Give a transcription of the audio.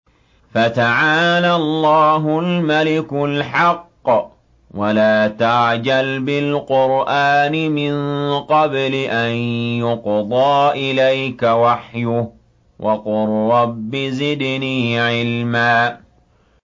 فَتَعَالَى اللَّهُ الْمَلِكُ الْحَقُّ ۗ وَلَا تَعْجَلْ بِالْقُرْآنِ مِن قَبْلِ أَن يُقْضَىٰ إِلَيْكَ وَحْيُهُ ۖ وَقُل رَّبِّ زِدْنِي عِلْمًا